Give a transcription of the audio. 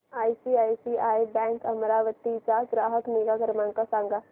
ICICI bank Amravati चा ग्राहक निगा क्रमांक सांगा